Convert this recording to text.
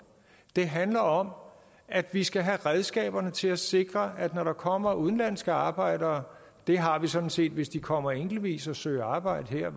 det handler om at vi skal have redskaberne til at sikre at når der kommer udenlandske arbejdere det har vi sådan set hvis de kommer enkeltvis og søger arbejde her